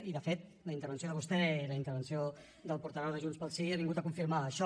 i de fet la intervenció de vostè i la intervenció del portaveu de junts pel sí ha vingut a confirmar això